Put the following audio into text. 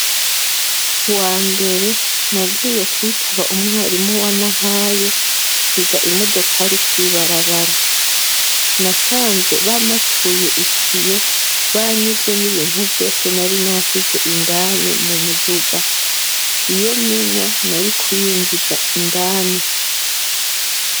Ku wambere nagiye kwitaba umwarimu wa Nahayo nsiga imodokari kw'ibarabara nasanze bamatuye ikiyo banyivye n'ibintu vyose nari nasize indani mu muduga iyo menya nari kuyinjiza indani.